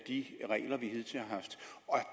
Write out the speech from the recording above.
de regler vi hidtil har haft og